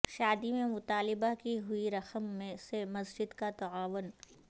شادی میں مطالبہ کی ہوئی رقم میں سے مسجد کا تعاون